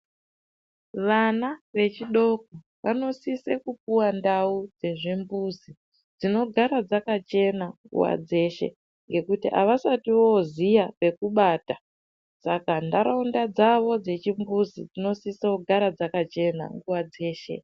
Vana vechidoko vanosise kupuwa ndau dzezvimbuzi dzinogara dzakachena nguva dzeshe. Ngekuti avasati voziya pokubata saka nharaunda dzavo dzechimbuzi dzinosisa kugara dzakachena nguva dzeshe.